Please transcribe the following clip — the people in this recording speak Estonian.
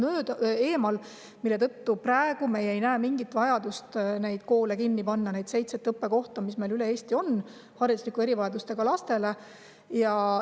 Seetõttu ei näe me praegu mingit vajadust neid koole kinni panna, neid seitset õppekohta, mis meil üle Eesti hariduslike erivajadustega lastele on.